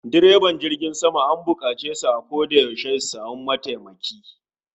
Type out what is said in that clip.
Direban jirgin sama an bukace su a koda yaushe su samu mataimaki